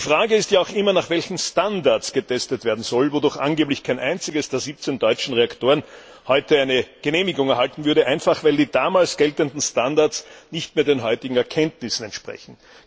Die Frage ist ja auch immer, nach welchen Standards getestet werden soll, wo doch angeblich kein einziger der 17 deutschen Reaktoren heute eine Genehmigung erhalten würde, einfach weil die damals geltenden Standards nicht mehr den heutigen Erkenntnissen entsprechen.